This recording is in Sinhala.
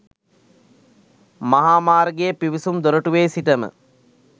මහා මාර්ගයේ පිවිසුම් දොරටුවේ සිටම